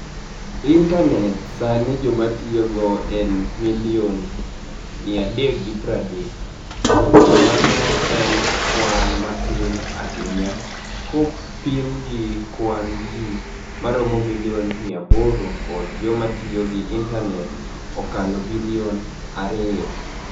IInitani et Saanii jamatiyo go eni milioni 330, to mano eni kwani matini ahiniya kopim gi kwani-ji ma romo milioni 800, kod joma tiyo gi Initani et okalo bilioni ariyo.